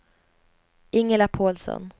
Ingela Pålsson